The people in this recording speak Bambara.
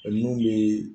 O nun be